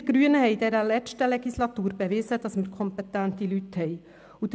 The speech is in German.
Wir Grünen haben in der letzten Legislatur bewiesen, dass wir kompetente Leute haben.